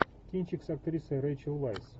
кинчик с актрисой рэйчел вайс